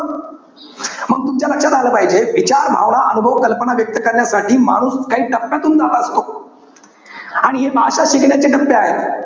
मंग तुमच्या लक्षात आलं पाहिजे. विचार, अनुभव, भावना, कल्पना व्यक्त करण्यासाठी माणूस काही टप्प्यातून जात असतो. आणि हे भाषा शिकण्याचे टप्पे आहेत.